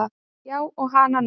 Já og hana nú.